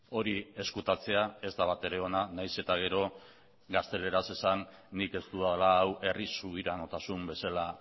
hori ezkutatzea ez da batere ona nahiz eta gero gazteleraz esan nik ez dudala hau herri subiranotasun bezala